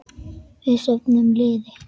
Við söfnum liði.